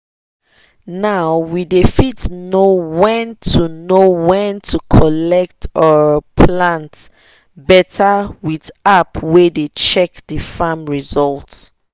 now we dey fit know when to know when to collect oor plant better with app way dey check the farm result.